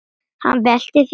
Hann veltir því fyrir sér.